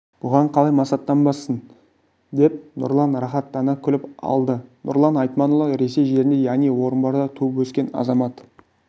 бұған қалай масаттанбассың деп нұрлан рахаттана күліп алды нұрлан айтманұлы ресей жерінде яғни орынборда туып-өскен азамат